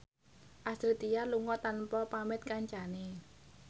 Astrid Tiar lunga tanpa pamit kancane